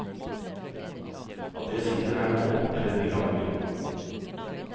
At jeg sitter her og nå, er et mirakel.